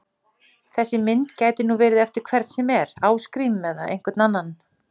Þessi mynd gæti nú verið eftir hvern sem er, Ásgrím eða einhvern annan!